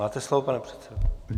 Máte slovo, pane předsedo.